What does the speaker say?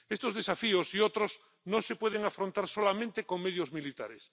Estos desafíos y otros no se pueden afrontar solamente con medios militares.